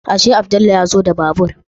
Ashe Abdullahi ya zo da babur